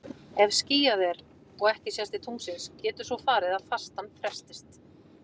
Ef skýjað er og ekki sést til tunglsins getur svo farið að fastan frestist.